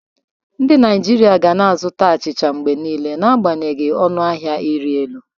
Ndị Naijiria ga na-azụta achịcha mgbe niile n'agbanyeghị ọnụ ahịa ịrị elu